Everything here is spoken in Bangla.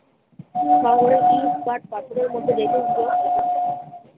ইট, কাঠ, পাথরের মধ্যে দেখুন তো।